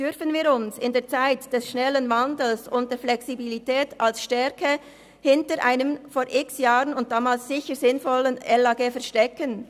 Dürfen wir uns in der Zeit des schnellen Wandels und der Flexibilität als Stärke hinter einem vor x Jahren und damals sicher sinnvollen LAG verstecken?